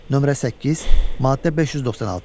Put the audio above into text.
Nömrə 8, maddə 596.